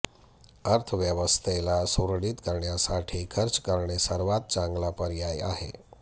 अर्थव्यवस्थेला सुरळीत करण्यासाठी खर्च करणे सर्वात चांगला पर्याय आहे